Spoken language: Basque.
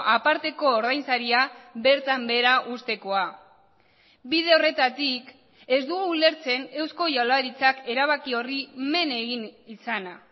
aparteko ordainsaria bertan behera uztekoa bide horretatik ez dugu ulertzen eusko jaurlaritzak erabaki horri men egin izana